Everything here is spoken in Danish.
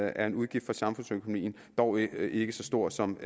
er en udgift for samfundsøkonomien dog ikke ikke så stor som